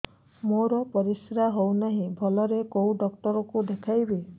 ମୋର ପରିଶ୍ରା ହଉନାହିଁ ଭଲରେ କୋଉ ଡକ୍ଟର କୁ ଦେଖେଇବି